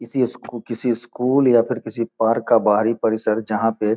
किसी इस किसी स्कूल या फिर पार्क का बाहरी परिसर जहाँ पे --